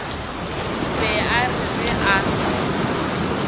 be a re ge a